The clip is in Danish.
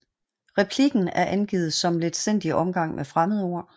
Replikken er angivet som letsindig omgang med fremmedord